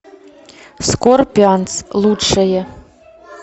скорпионс лучшее